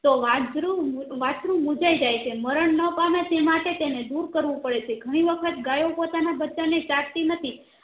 તો વાધરું વસ્ત્રુ મુંજાય જાય છે મરણ ના પામે તે માટે તેન દૂર કરવું પડે છે ઘણી વખત ગયો પોતાના બચ્ચાં ને ચાટતી નથી